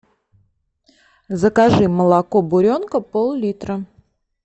закажи молоко буренка пол литра